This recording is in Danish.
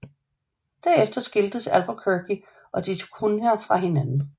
Derefter skiltes Albuquerque og da Cunha fra hinanden